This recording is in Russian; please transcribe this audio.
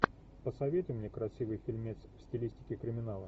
посоветуй мне красивый фильмец в стилистике криминала